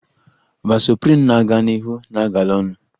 Vasoprin na-aga n'ihu na-agala onu